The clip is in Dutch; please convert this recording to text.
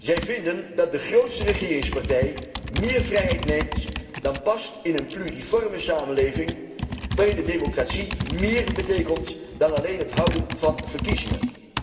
Zij vinden dat de grootste regeringspartij meer vrijheid neemt dan past in een pluriforme samenleving, waarin de democratie meer betekent dan alleen het houden van verkiezingen.